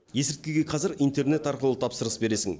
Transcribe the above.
есірткіге қазір интернет арқылы тапсырыс бересің